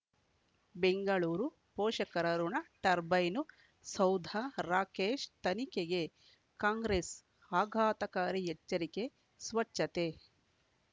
ಬೆಂಗಳೂರು ಪೋಷಕರಋಣ ಟರ್ಬೈನು ಸೌಧ ರಾಕೇಶ್ ತನಿಖೆಗೆ ಕಾಂಗ್ರೆಸ್ ಆಘಾತಕಾರಿ ಎಚ್ಚರಿಕೆ ಸ್ವಚ್ಛತೆ